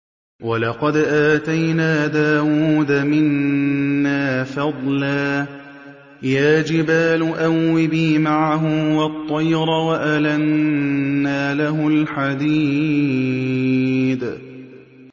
۞ وَلَقَدْ آتَيْنَا دَاوُودَ مِنَّا فَضْلًا ۖ يَا جِبَالُ أَوِّبِي مَعَهُ وَالطَّيْرَ ۖ وَأَلَنَّا لَهُ الْحَدِيدَ